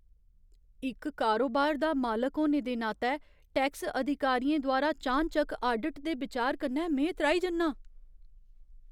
इक कारोबार दा मालक होने दे नातै, टैक्स अधिकारियें द्वारा चानचक्क आडिट दे बिचार कन्नै में त्राही जन्नां।